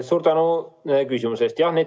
Suur tänu küsimuse eest!